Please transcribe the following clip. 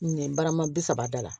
Nɛn barama bi saba da la